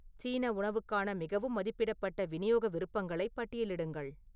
சீன உணவுக்கான மிகவும் மதிப்பிடப்பட்ட விநியோக விருப்பங்களை பட்டியலிடுங்கள்